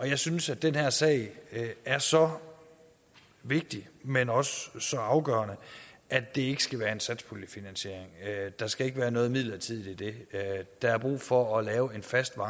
jeg synes at den her sag er så vigtig men også så afgørende at det ikke skal være en satspuljefinansiering der skal ikke være noget midlertidigt i det der er brug for at lave en fast og